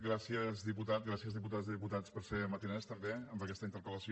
gràcies diputat gràcies diputades i diputats per ser matiners també amb aquesta interpel·lació